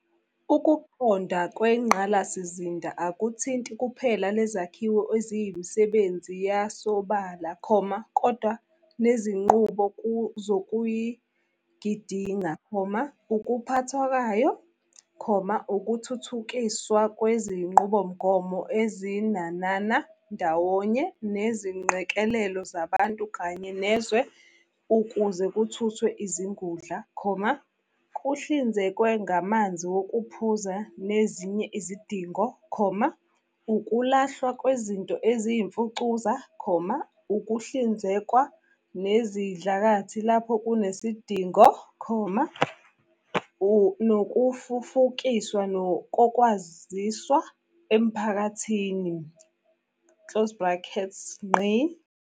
Ukuqondwa kwengqalasizinda akuthinti kuphela lezakhiwo eziyimisebenzi yasobala, kodwa nezinqubo zokuyogidinga, ukuphathwa kwayo, ukuthuthukiswa kwezinqubomgomo ezinanana ndawonye nezingqekelelo zabantu kanye nezwe ukuze kuthuthwe izingudla, kuhlinzekwe ngamanzi wokuphuza nezinye izidingo, ukulahlwa kwezinto eziyimfucuza, ukuhlinzekwa nesidlakathi lapho kunesidingo, nokufufukiswa kokwaziswa emiphakathini."